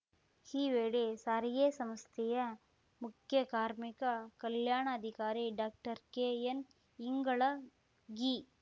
ಈ ವೇಳೆ ಸಾರಿಗೆ ಸಂಸ್ಥೆಯ ಮುಖ್ಯಕಾರ್ಮಿಕ ಕಲ್ಯಾಣಾಧಿಕಾರಿ ಡಾಕ್ಟರ್ಕೆಎನ್‌ಇಂಗಳಗಿ